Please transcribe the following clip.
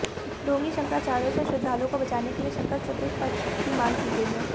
ढोंगी शंकराचार्योंसे श्रद्धालुओंको बचानेके लिए शंकर चतुष्पथकी मांग की गई है